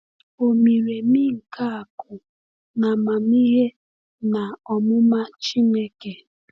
“O miri emi nke akụ na amamihe na ọmụma Chineke!”